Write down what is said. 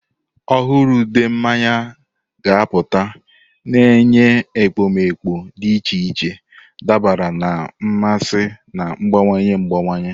Ọhụrụ ude mmanya ga-apụta, na-enye ekpomeekpo dị iche iche dabara na mmasị na-agbanwe agbanwe.